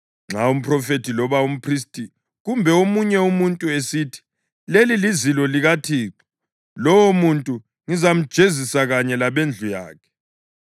Nxa umphrofethi loba umphristi kumbe omunye umuntu esithi, ‘Leli lizilo likaThixo,’ lowomuntu ngizamjezisa kanye labendlu yakhe.